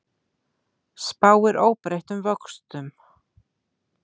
Spáir óbreyttum vöxtum